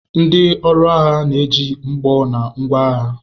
Ndi ọrụ agha na-eji mgbọ na ngwa agha.